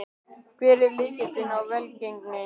Hver er lykilinn að velgengninni?